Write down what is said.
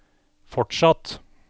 fortsatt